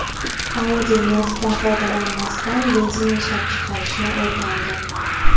Audi neftdan foydalanmasdan benzin ishlab chiqarishni o‘rgandi.